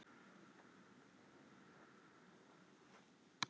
Hér að neðan verður fylgst með leiknum í beinni lýsingu.